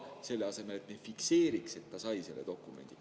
Selle asemel ehk fikseeriks, et ta sai selle dokumendi.